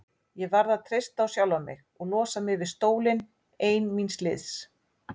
Ég varð að treysta á sjálfa mig og losa mig við stólinn ein míns liðs.